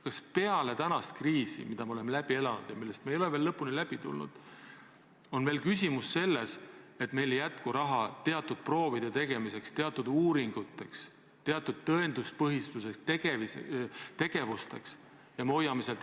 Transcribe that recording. Kas peale kriisi, mille me oleme üle elanud ja millest me ei ole veel lõpuni välja tulnud, on nüüd küsimus selles, et meil ei jätku raha teatud proovide tegemiseks, teatud uuringuteks, teatud tõenduspõhisteks tegevusteks?